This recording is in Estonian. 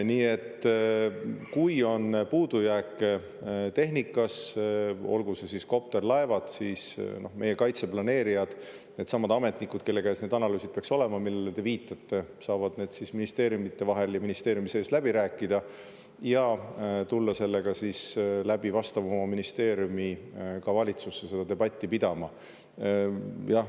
Nii et kui on puudujääke tehnikas, olgu see siis kopter, laevad, siis meie kaitseplaneerijad, needsamad ametnikud, kelle käes peaks olema need analüüsid, millele te viitate, saavad need ministeeriumide vahel ja ministeeriumi sees läbi ja tulla vastava ministeeriumi kaudu ka valitsusse seda debatti pidama.